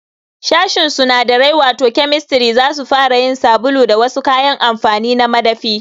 Sashin sunadarai wato Chemistry zasu fara yin sabulu da wasu kayan amfani na madafi